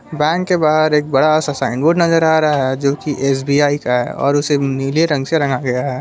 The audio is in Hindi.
बैंक के बाहर एक बड़ा सा साइन बोर्ड नजर आ रहा है जोकि एस_बी_आई का है और उसे नीले रंग से रंगा गया है।